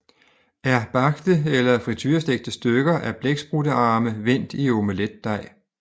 er bagte eller friturestegte stykker af blækspruttearme vendt i omeletdej